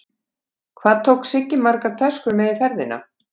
Hvað tók Siggi margar töskur með í ferðina?